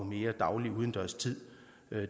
mere daglig udendørs tid